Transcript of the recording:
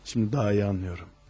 İndi daha yaxşı başa düşürəm.